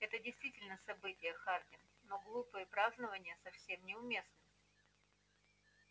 это действительно событие хардин но глупые празднования совсем не уместны